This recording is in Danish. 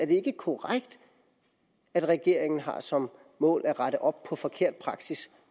det ikke er korrekt at regeringen har som mål at rette op på forkert praksis